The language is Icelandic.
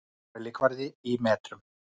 Mælikvarði í metrum.